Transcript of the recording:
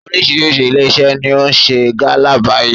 Oríṣiríṣi ilé iṣẹ́ ni ó ń ṣe gálà báyìí.